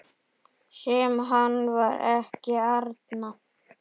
Sem hann var ekki, Arnar.